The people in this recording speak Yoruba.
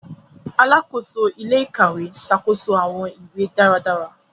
Alàkóso ilé-íkàwe ṣàkóso awọn ìwé dáradára.